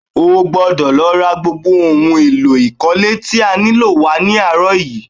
O gbọ́dọ̀ lọ ra gbogbo ohun èlò ikọ̀le tí a nílò wá ní àárọ̀ yìí!